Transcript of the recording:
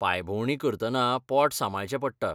पांयभोवंडी करतना पोट सांबाळचें पडटा.